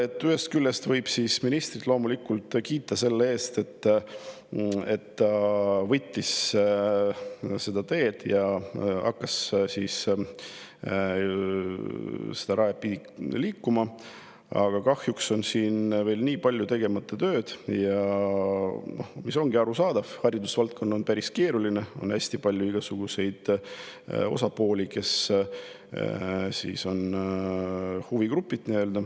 Ühest küljest võib ministrit loomulikult kiita selle eest, et ta võttis selle tee ette ja hakkas seda mööda liikuma, aga kahjuks on siin veel väga palju tegemata tööd, mis ongi arusaadav, sest haridusvaldkond on päris keeruline, on hästi palju igasuguseid osapooli, nii-öelda huvigruppe.